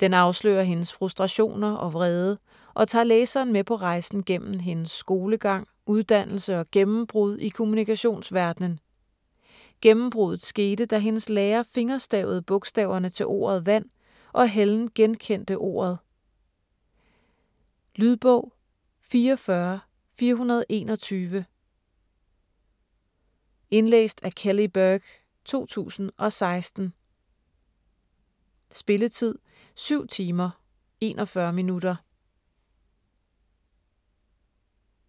Den afslører hendes frustrationer og vrede og tager læseren med på rejsen gennem hendes skolegang, uddannelse og gennembrud i kommunikationsverdenen. Gennembrudet skete, da hendes lærer fingerstavede bogstaverne til ordet ’vand’, og Helen genkendte ordet. Lydbog 44421 Indlæst af Kelly Burke, 2016. Spilletid: 7 timer, 41 minutter.